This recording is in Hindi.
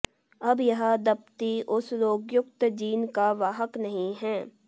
अब यह दंपती उस रोगयुक्त जीन का वाहक नहीं है